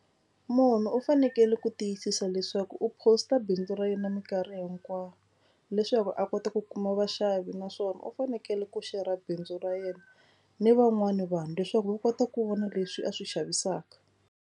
Munhu u fanekele ku tiyisisa leswaku u post-a bindzu ra yena mikarhi hinkwayo leswaku a kota ku kuma vaxavi naswona u fanekele ku xera bindzu ra yena ni van'wani vanhu leswaku va kota ku vona leswi a swi xavisaka.